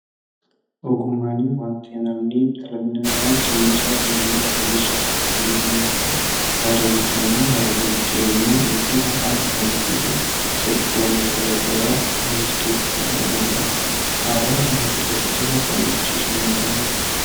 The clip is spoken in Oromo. Ogummaanii wanti namnii dhalli namaa jireenyasaa guyyaa guyyaa fooyyessuuf itti fayyadamu yoo ta'u aadaa jechuun immoo haala jiruuf jireenyaa yookin afaan, amantii fi sirba wantoota garaa garaa manicha keessatti argamudha. Aadaa uummata keessa jiru akkami tursiisuun danda'amaa?